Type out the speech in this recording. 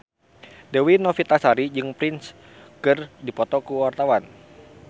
Dewi Novitasari jeung Prince keur dipoto ku wartawan